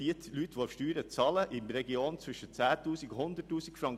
– Diese Leute bezahlen Steuern zwischen 10 000 und 100 000 Franken.